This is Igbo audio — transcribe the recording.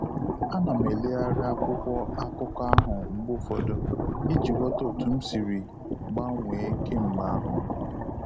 A nam eleghari akwụkwọ akụkọ ahụ mgbe ụfọdụ iji ghọta otu m sịrị gbanwee kemgbe ahu